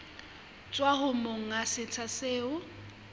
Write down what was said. tswa ho monga setsha seo